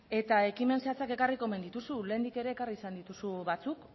eta ekimen zehatzak ekarriko omen dituzu lehendik ere ekarri izan dituzu batzuk